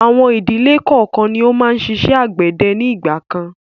Àwọn ìdílé kọọ́kan ni ó máa ń ṣiṣẹ́ àgbẹ̀dẹ ni ìgbàkan.